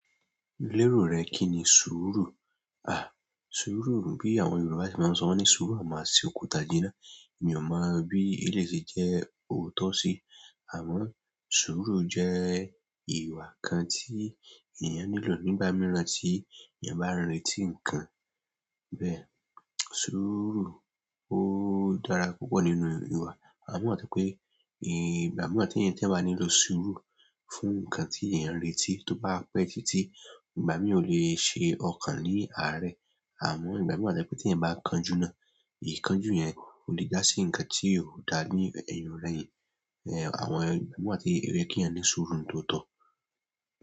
Lérò rẹ kíni sùúrù? À, sùúrù bí àwọn Yorùbá ṣe máa ń sọ wọ́n ní sùúrù a máa ṣe òkúta jiná. Mi ò mọ bí eléyìí ṣe jẹ́ òótọ́ sí. Àmọ́, sùúrù jẹ́ ìwà kan tí èèyàn nílò nígbà mìíràn tí ènìyàn bá ń retí nǹkan. Bẹ́ẹ̀, sùúrù ó dára púpọ̀ nínú ìwà. Àmọ́ wà tó jẹ́ pé, ìgbà míì wà téèyàn téèyàn bá nílò sùúrù fún nǹkan tí ènìyàn ń retí tó bá pẹ́ títí, ìgbà mìí ó le ṣe ọkàn ní àárẹ̀. Àmọ́ ìgbà míì wà tó jẹ́ pé téèyàn bá kánjú náà, ìkánjú yẹn, ó lè jásí ǹkan tí òda ní ẹ̀yìn ò rẹyìn ẹn, àwọn ìgbà míì wà tí óyẹ kí yàn ní sùúrù ń tòótọ́.